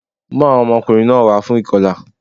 Mú àwọn ọmọkùnrin náà wá fún ìkọlà